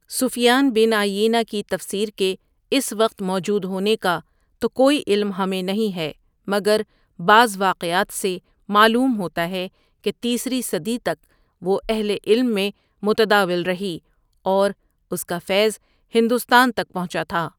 سفیان bin Uyaynah کی تفسیر کے اس وقت موجود ہونے کا توکوئی علم ہمیں نہیں ہے مگربعض واقعات سے معلوم ہوتا ہے کہ تیسری صدی تک وہ اہلِ علم میں متداول رہی اور اس کا فیض ہندوستان تک پہنچا تھا۔